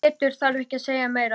En Pétur þarf ekki að segja meira.